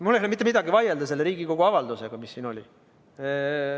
Mul ei ole mitte milleski vaielda vastu sellele Riigikogu avaldusele, mis siin oli.